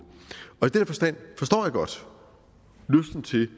og i den forstand forstår jeg godt lysten til